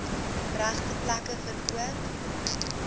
regte plekke verkoop